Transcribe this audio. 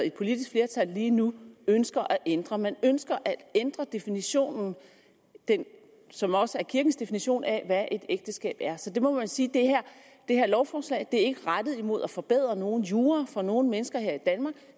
et politisk flertal lige nu ønsker at ændre man ønsker at ændre definitionen som også er kirkens definition af hvad et ægteskab er så man må sige at det her lovforslag ikke er rettet mod at forbedre nogen jura for nogen mennesker her i danmark